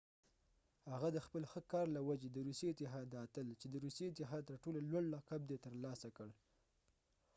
هغه د خپل ښه کار له وجې د روسي اتحاد د اتل چې د روسي اتحاد تر ټولو لوړ لقب دی ترلاسه کړ